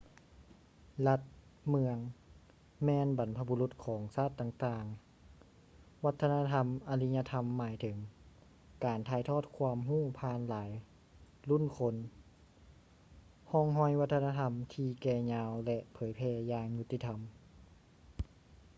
ລັດ-ເມືອງ ແມ່ນບັນພະບຸລຸດຂອງຊາດຕ່າງໆ ວັດທະນະທຳອາລິຍະທຳໝາຍເຖິງການຖ່າຍທອດຄວາມຮູ້ຜ່ານຫລາຍລຸ້ນຄົນ ຮ່ອງຮອຍວັດທະນະທຳທີ່ແກ່ຍາວ ແລະ ເຜີຍແຜ່ຢ່າງຍຸດຕິທຳ